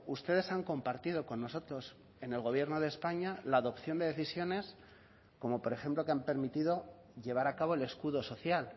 ustedes han compartido con nosotros en el gobierno de españa la adopción de decisiones como por ejemplo que han permitido llevar a cabo el escudo social